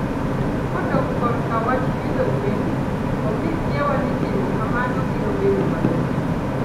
Kodok korka wach pidho gwen, onge kiawa ni timo kamano biro bedo mayot.